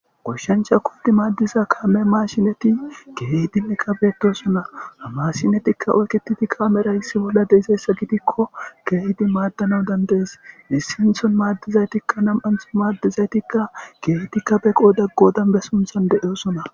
Goshshancha kuddi maaddiza kaame maashineti geedinne qkabetosona hamashinetikka oyketiti kaamera hissi bolla deezeessa gidikko geehdi maaddanawu dandees dissinthon maaddizaytikka nam'anthon maaddizaytikka geetikka beqo daggo dambe sunthan deeosona.